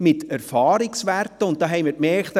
Dabei haben wir festgestellt: